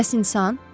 Bəs insan?